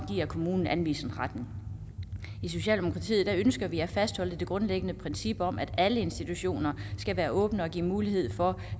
kommunen anvisningsretten i socialdemokratiet ønsker vi at fastholde det grundlæggende princip om at alle institutioner skal være åbne og give mulighed for